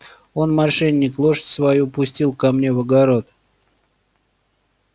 он мошенник лошадь свою пустил ко мне в огород